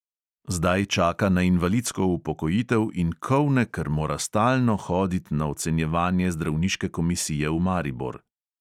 Zdaj čaka na invalidsko upokojitev in kolne, ker mora stalno hodit na ocenjevanje zdravniške komisije v maribor.